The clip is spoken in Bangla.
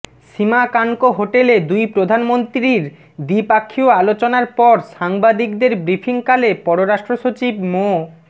শিমা কানকো হোটেলে দুই প্রধানমন্ত্রীর দ্বিপক্ষীয় আলোচনার পর সাংবাদিকদের ব্রিফিংকালে পররাষ্ট্রসচিব মো